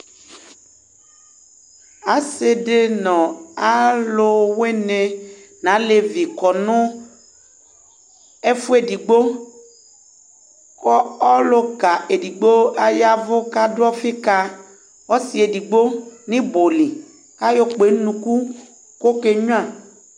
Asidi nɔ aluwuni na alévi kɔ nu ɛfuɛ édigbo Ku ɔluka édigbo ayavu kadu ɔfɩ ka ɔsɩ édigbo ni ibɔli, kayɔ kpé nu unuku kɔ ɔkéyno